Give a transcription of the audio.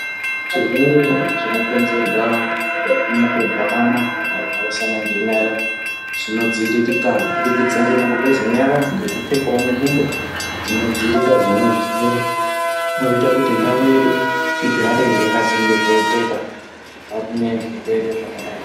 Zvirwere zvino konzerwa neku muku gwamana kana ku mhoresana nge nyara zvino dziviririka kubudikidza ngemuku geze nyara neku pfekawo ngubo dzino dzivirira zvona zvirwere zvinoita kuti ndau yedu igare yaka chengetedzeka kubva kune zvirwere zvakadai.